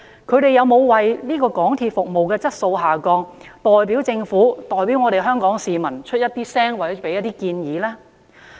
各人有否為港鐵服務質素下降而代表政府和香港市民發聲或提出建議呢？